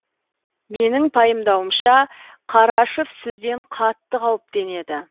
менің пайымдауымша қарашаев сізден қатты қауіптенеді